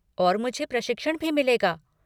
और मुझे प्रशिक्षण भी मिलेगा।